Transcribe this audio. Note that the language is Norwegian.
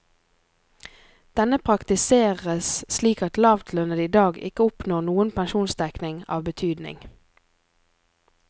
Denne praktiseres slik at lavtlønnede i dag ikke oppnår noen pensjonsdekning av betydning.